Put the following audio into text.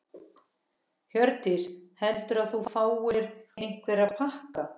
Hjördís: Heldurðu að þú fáir einhverja pakka?